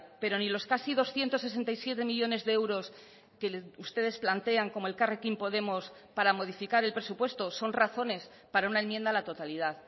pero ni los casi doscientos sesenta y siete millónes de euros que ustedes plantean como elkarrekin podemos para modificar el presupuesto son razones para una enmienda a la totalidad